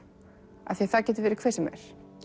því það getur verið hver sem er